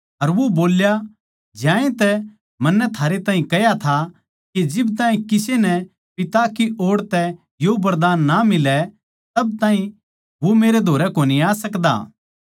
अर वो बोल्या ज्यांतै मन्नै थारै ताहीं कह्या था के जिब ताहीं किसे नै पिता की ओड़ तै यो वरदान ना मिलै तब ताहीं वो मेरै धोरै कोनी आ सकदा